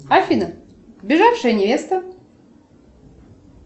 афина сбежавшая невеста